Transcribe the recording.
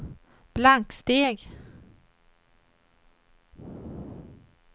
blanksteg